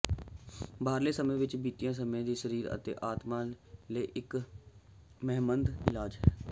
ਬਾਹਰਲੇ ਸਮੇਂ ਵਿੱਚ ਬਿਤਾਇਆ ਸਮਾਂ ਸਰੀਰ ਅਤੇ ਆਤਮਾ ਲਈ ਇੱਕ ਸਿਹਤਮੰਦ ਇਲਾਜ ਹੈ